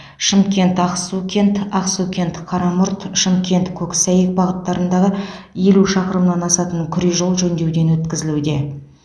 шымкент ақсукент ақсукент қарамұрт шымкент көксәйек бағыттарындағы елу шақырымнан асатын күре жол жөндеуден өткізілуде